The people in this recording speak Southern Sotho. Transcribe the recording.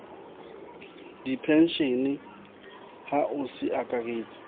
dipenshene a ho se akaretse